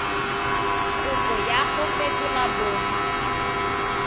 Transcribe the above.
kopo ya go fetola bong